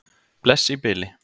Bless í bili.